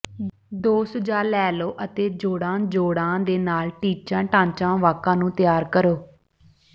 ਦੋ ਸੁਝਾਅ ਲੈ ਲਓ ਅਤੇ ਜੋੜਾ ਜੋੜਾਂ ਦੇ ਨਾਲ ਟੀਚਾ ਢਾਂਚਾ ਵਾਕਾਂ ਨੂੰ ਤਿਆਰ ਕਰੋ